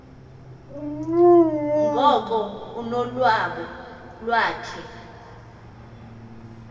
ngoko ulonwabo iwakhe